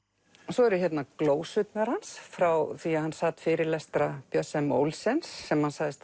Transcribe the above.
svo eru hérna glósurnar hans frá því hann sat fyrirlestra Björns m Olsens sem hann sagðist